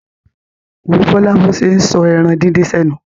Wo Bọ́lá bó ṣe ń sọ ẹran díndín sẹ́nu.